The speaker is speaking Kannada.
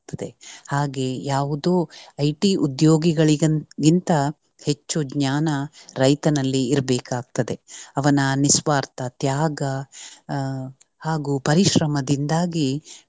ಹಾಗೆ ಯಾವುದೋ IT ಉದ್ಯೋಗಿಗಳಿಗಿಂತ ಹೆಚ್ಚು ಜ್ಞಾನ ರೈತನಲ್ಲಿ ಇರ್ಬೇಕಾಗ್ತದೆ. ಅವನ ನಿಸ್ವಾರ್ಥ ತ್ಯಾಗ ಆಹ್ ಹಾಗೂ ಪರಿಶ್ರಮದಿಂದಾಗಿ